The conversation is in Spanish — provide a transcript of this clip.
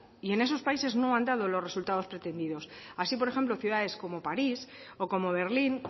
y en esos países no han dado los resultados pretendidos así por ejemplo ciudades como paris o como berlín